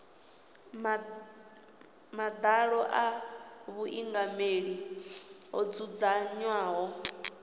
madalo a vhuingameli ho dzudzanywaho